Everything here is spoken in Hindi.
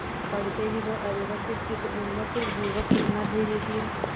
पड़ते ही वह अव्यवस्थितचित्त उन्मत्त युवक कितना धैर्यशील